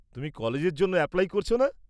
তুমি কলেজের জন্য অ্যাপ্লাই করছ না?